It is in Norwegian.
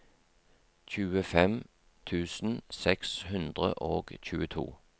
tjuefem tusen seks hundre og tjueto